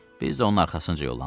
Biz də onun arxasınca yollandıq.